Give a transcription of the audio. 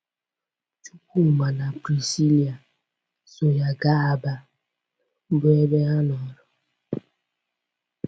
Chukwuma na Prisilia so ya gaa Aba, bụ́ ebe ha nọrọ.